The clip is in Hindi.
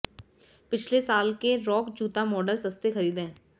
पिछले साल के रॉक जूता मॉडल सस्ते खरीदें